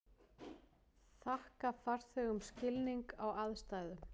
Þakka farþegum skilning á aðstæðum